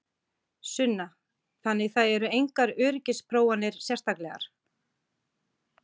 Sunna: Þannig það eru engar öryggisprófanir sérstaklegar?